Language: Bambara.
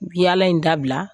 Bi yaala in dabila